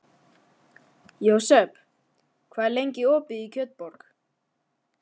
Jósep, hvað er lengi opið í Kjötborg?